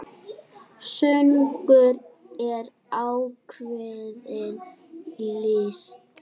Söngur er ákveðin list.